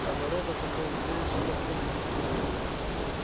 да народ от такого зрелища попухнет весь